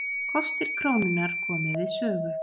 Kostir krónunnar komi við sögu